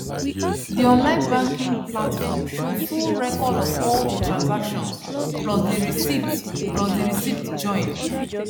the online banking platform show full record of all the transactions plus the receipts plus the receipts join